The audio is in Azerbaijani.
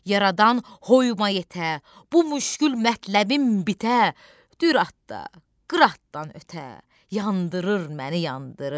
Yaradan hoymaya yetə, bu müşkül mətləbim bitə, dürat da qıratdan ötə yandırır məni, yandırır.